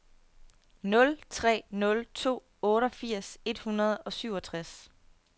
nul tre nul to otteogfirs et hundrede og syvogtres